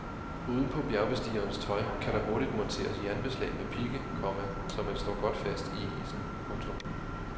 Uden på bjergbestigerens tøj kan der hurtigt monteres jernbeslag med pigge, komma så man står godt fast i isen. punktum